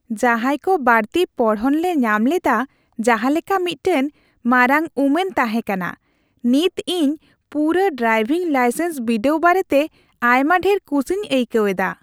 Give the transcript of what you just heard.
ᱡᱟᱦᱟᱸᱭ ᱠᱚ ᱵᱟᱹᱲᱛᱤ ᱯᱚᱲᱦᱚᱱᱞᱮ ᱧᱟᱢ ᱞᱮᱫᱟ ᱡᱟᱦᱟᱸ ᱞᱮᱠᱟ ᱢᱤᱫᱴᱟᱝ ᱢᱟᱨᱟᱝ ᱩᱢᱟᱹᱱ ᱛᱟᱦᱮᱸ ᱠᱟᱱᱟ ! ᱱᱤᱛ ᱤᱧ ᱯᱩᱨᱟᱹ ᱰᱨᱟᱭᱵᱷᱤᱝ ᱞᱟᱭᱥᱮᱱᱥ ᱵᱤᱰᱟᱹᱣ ᱵᱟᱨᱮᱛᱮ ᱟᱭᱢᱟ ᱰᱷᱮᱨ ᱠᱩᱥᱤᱧ ᱟᱹᱭᱠᱟᱹᱣ ᱮᱫᱟ ᱾